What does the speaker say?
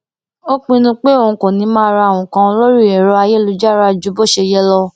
ó pinnu pé òun kò ní máa ra nǹkan lórí ẹrọ ayélujára ju bó ṣe yẹ lọ